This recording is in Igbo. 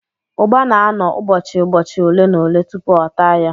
Ụgba na-anọ ụbọchị ụbọchi ole na ole tupu a taa ya